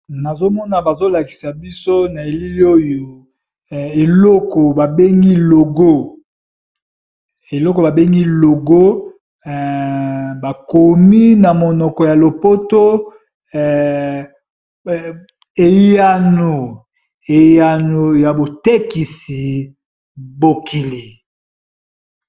Nazo mona bazo lakisa biso na elili oyo eloko ba bengi logo, bakomi na monoko ya lopoto eyano eyano ya botekisi bokili.